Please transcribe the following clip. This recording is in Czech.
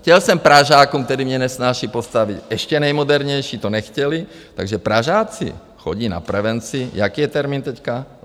Chtěl jsem Pražákům, kteří mě nesnáší, postavit ještě nejmodernější, to nechtěli, takže Pražáci chodí na prevenci - jaký je termín teď?